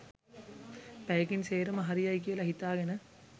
පැයකින් සේරම හරි යයි කියලා හිතාගෙන.